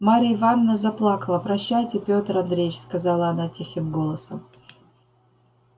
марья ивановна заплакала прощайте пётр андреич сказала она тихим голосом